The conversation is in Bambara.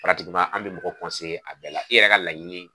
an mɛ mɔgɔ a bɛɛ la i yɛrɛ ka laɲini